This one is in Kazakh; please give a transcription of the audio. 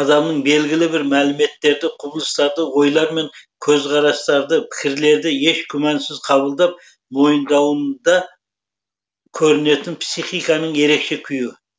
адамның белгілі бір мәліметтерді құбылыстарды ойлар мен көзқарастарды пікірлерді еш күмәнсіз қабылдап мойындауында көрінетін психиканың ерекше күйі